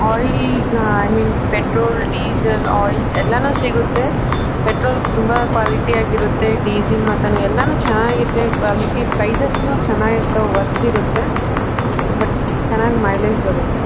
Oil I mean petrol diesel oil ಎಲ್ಲಾನು ಸಿಗುತ್ತೆ. Petrol ತುಂಬ ಕ್ವಾಲಿಟಿ ಆಗಿ ಇರುತ್ತೆ ಡೀಸೆಲ್ ಮತ್ತೆ ಅದು ಚೆನ್ನಾಗಿ ಇರುತ್ತೆ ಸ್ಪೈಸಸ್ ನು ಚೆನ್ನಾಗಿ ಇರುತ್ತೆ ವರ್ತ್ ಇರ್ತವು ಬಟ್ ಚೆನ್ನಾಗ್ ಮೈಲೇಜ್ ಬರುತ್ತೆ.